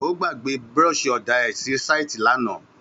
Ó gbà gbẹ búrọsì òdá rẹ sí sàítì làná.